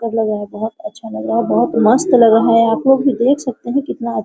कर लग रहा हैबहुत अच्छा लग रहा है बहुत मस्त लग रहा है आपलोग भी देख सकते है कितना अच्छा --